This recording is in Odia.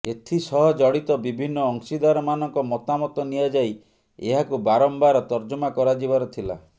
ଏଥିସହ ଜଡ଼ିତ ବିଭିନ୍ନ ଅଂଶୀଦାରମାନଙ୍କ ମତାମତ ନିଆଯାଇ ଏହାକୁ ବାରମ୍ବାର ତର୍ଜମା କରାଯିବାର ଥିଲା